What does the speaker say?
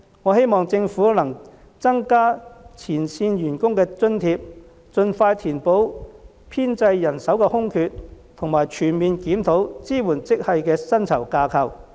我希望政府能增加前線員工的津貼，盡快填補編制人手的空缺和全面檢討支援職系的薪酬架構。